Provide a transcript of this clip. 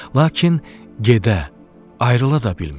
Lakin gedə, ayrıla da bilmirdi.